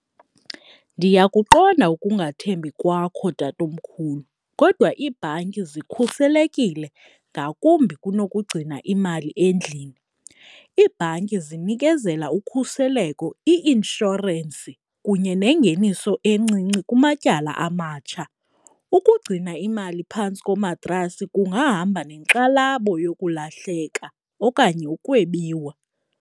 Ndiyakuqonda ukungathembi kwakho, tatomkhulu, kodwa ibhanki zikhuselekile ngakumbi kunokugcina imali endlini. Iibhanki zinikezela ukhuseleko i-inshorensi kunye nengeniso encinci kumatyala amatsha. Ukugcina imali phantsi komatrasi kungahamba neenkxalabo nokulahleka okanye ukwebiwa.